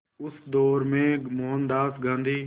उस दौर में मोहनदास गांधी